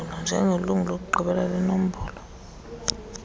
njengelungu lokugqibela lenombolo